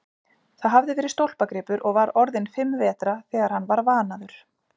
Það hafði verið stólpagripur og var orðinn fimm vetra þegar hann var vanaður.